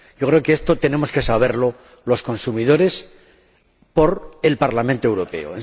Yo creo que esto tenemos que saberlo los consumidores por el Parlamento Europeo.